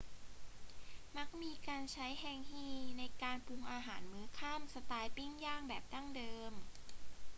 มักมีการใช้แฮงงีในการปรุงอาหารมื้อค่ำสไตล์ปิ้งย่างแบบดั้งเดิม